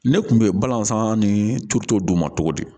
Ne kun be balansa ni turuto d'u ma cogo di